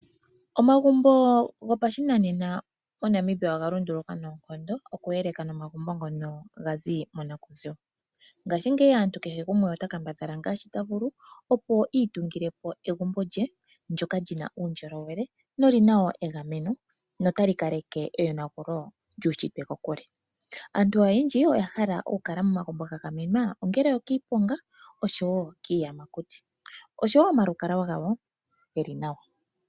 Omagumbo gopashinanena moNamibia oga lunduluka noonkondo okuyeleka nomagumbo ngono ga zi monakuziwa. Ngaashingeyi aantu otaya kambadhala ngaashi taya vulu opo iitungile po egumbo lye ndoka li na uundjolowele no lina egameno no ta li ka leke eyonagulo lyuushitwe kokule. Aantu oyendji oya hala momagumbo ga gamwenwa ongele okiiponga oshowo kiiyamakuti oshowo omalukalwa ge li nawa.